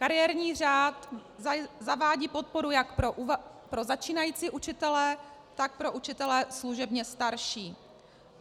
Kariérní řád zavádí podporu jak pro začínající učitele, tak pro učitele služebně starší.